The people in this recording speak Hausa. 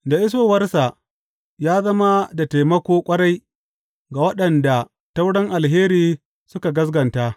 Da isowarsa, ya zama da taimako ƙwarai ga waɗanda ta wurin alheri suka gaskata.